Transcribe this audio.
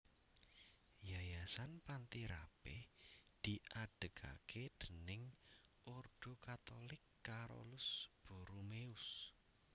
Yayasan Panti Rapih diadegaké déning Ordo Katulik Carolus Borromeus